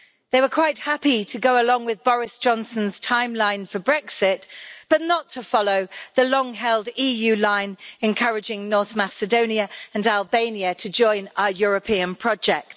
They were quite happy to go along with Boris Johnson's timeline for Brexit but not to follow the long held EU line encouraging North Macedonia and Albania to join our European project.